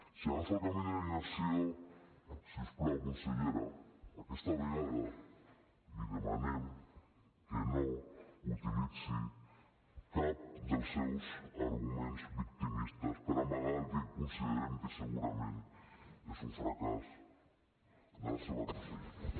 si agafa el camí de la inacció si us plau consellera aquesta vegada li demanem que no utilitzi cap dels seus arguments victimistes per amagar el que considerem que segurament és un fracàs de la seva conselleria